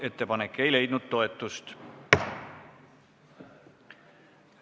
Ettepanek ei leidnud toetust.